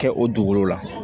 Kɛ o dugukolo la